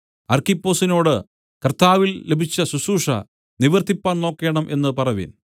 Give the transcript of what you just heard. അർക്കിപ്പൊസിനോട് കർത്താവിൽ ലഭിച്ച ശുശ്രൂഷ നിവർത്തിപ്പാൻ നോക്കേണം എന്ന് പറവിൻ